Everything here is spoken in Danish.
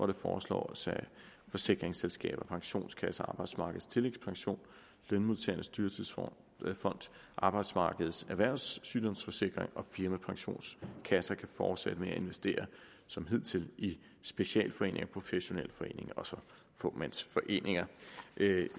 det foreslås at forsikringsselskaber pensionskasser arbejdsmarkedets tillægspension lønmodtagernes dyrtidsfond arbejdsmarkedets erhvervssygdomssikring og firmapensionskasser kan fortsætte med at investere som hidtil i specialforeninger professionelle foreninger og fåmandsforeninger